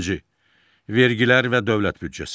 Birinci, vergilər və dövlət büdcəsi.